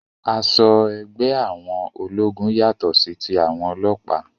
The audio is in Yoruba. Aṣọ ẹgbẹ́ àwọn ológun yàtọ sí tí àwọn ọlọ́pàá